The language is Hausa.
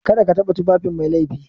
Kada ka taɓa tufafin Mai laifi